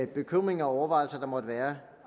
bekymringer og overvejelser der måtte være